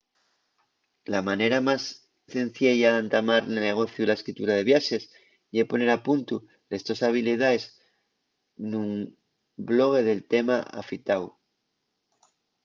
la manera más cenciella d'entamar nel negociu de la escritura de viaxes ye poner a puntu les tos habilidaes nun blogue del tema afitáu